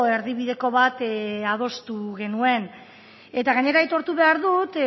erdi bideko bat adostu genuen eta gainera aitortu behar dut